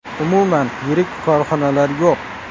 Umuman yirik korxonalar yo‘q.